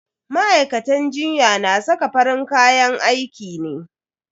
Ma'aikatan jinya na saka farin kayan aiki ne.